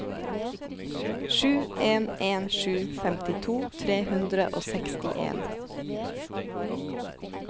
sju en en sju femtito tre hundre og sekstien